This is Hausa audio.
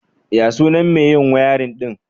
Ya sunan mai yin wiring ɗin?